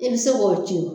I bɛ se k'o ci